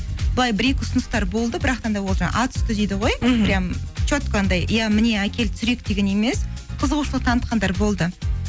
былай бір екі ұсыныстар болды да ол жаңағы ат үсті дейді ғой анандай иә міне әкел түсірейік деген емес қызығушылық танытқандар болды